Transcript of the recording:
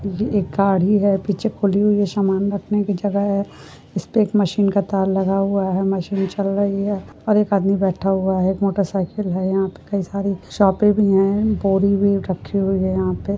यह एक गाड़ी है। पीछे खुली हुयी है समान रखने कि जगह है इस पे एक मशीन का तार लगा हुआ है मशीन चल रही है और एक आदमी बैठा हुआ है। एक मोटरसाइकिल है। यहाँ पे कई सारे शोपे भी है बोरिंग भी रखी हुयी है यहाँ पे।